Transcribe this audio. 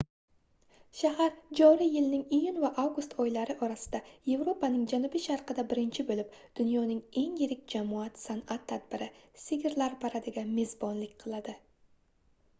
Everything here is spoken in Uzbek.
shahar joriy yilning iyun va avgust oylari orasida yevropaning janubi-sharqida birinchi boʻlib dunyoning eng yirik jamoat sanʼat tadbiri sigirlar paradiga mezbonlik qiladi